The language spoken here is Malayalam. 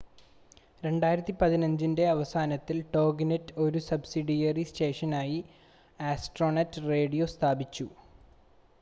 2015-ൻ്റെ അവസാനത്തിൽ ടോഗിനെറ്റ് ഒരു സബ്‌സിഡിയറി സ്റ്റേഷനായി ആസ്ട്രോനെറ്റ് റേഡിയോ സ്ഥാപിച്ചു